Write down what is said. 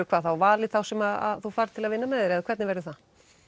hvað valið þá sem þú færð til að vinna með þér eða hvernig verður það